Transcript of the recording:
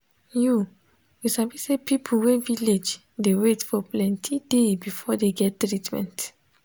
i say even small small thing wey dem suppose give no dey um for village center.